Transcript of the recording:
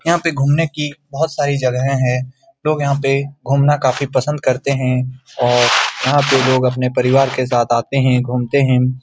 यहां पे घूमने की बहुत सारी जगहे है लोग यहां पे घूमना काफी पसंद करते है और यहां पे लोग अपने परिवार के साथ आते है घुमते है --